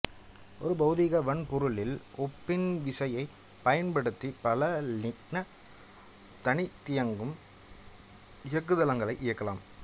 ஒரு பெளதிக வன்பொருளில் ஓப்பன்விசியைப் பயன்படுத்தி பல லினக்சு தனித்தியங்கும் இயக்குதளங்களை இயக்கலாம்